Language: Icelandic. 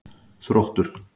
Þróttur